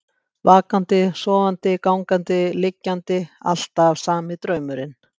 Vakandi, sofandi, gangandi, liggjandi, alltaf sami draumurinn.